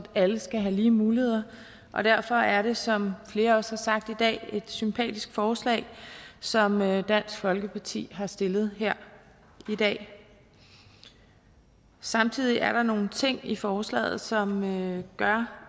alle skal have lige muligheder derfor er det som flere også har sagt i dag et sympatisk forslag som dansk folkeparti har stillet her i dag samtidig er der nogle ting i forslaget som gør